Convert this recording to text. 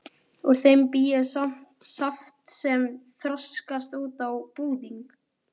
Úr þeim bý ég saft sem þroskast út á búðing.